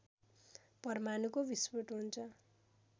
परमाणुको विस्फोट हुन्छ